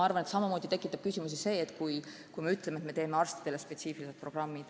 Aga samamoodi tekitaks küsimusi see, kui me ütleksime, et teeme arstidele spetsiifilised programmid.